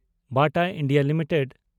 ᱵᱟᱴᱟ India limited